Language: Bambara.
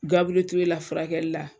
Gabure Toure la furakɛli la